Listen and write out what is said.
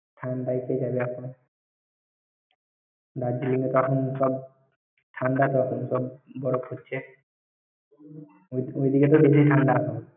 ঠাণ্ডায় তুই যাবি এখন। দার্জিলিং এ তো এখন সব ঠাণ্ডা তো এখন, বরফ পড়ছে। ওইদিকে তো বেশি ঠাণ্ডা।